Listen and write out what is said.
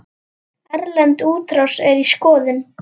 Erlend útrás er í skoðun.